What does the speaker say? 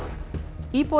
íbúar